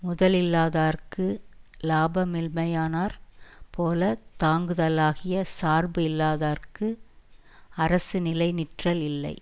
முதலில்லாதார்க்கு இலாபமில்லையானாற் போல தாங்குதலாகிய சார்பு இல்லாதர்க்கு அரசு நிலைநிற்றல் இல்லை